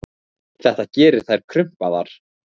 Þetta gerir þær krumpaðar.